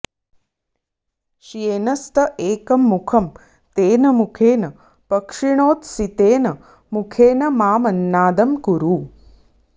श्येनस्त एकं मुखं तेन मुखेन पक्षिणोऽत्सि तेन मुखेन मामन्नादं कुरु